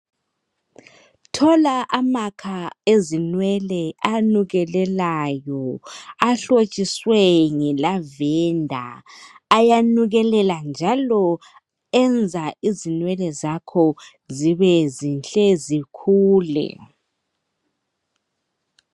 Thola amakha ezinwele anukelelayo ahlotshiswe nge lavender ayanukelela njalo enza izinwele zakho zibe zinhle zikhule.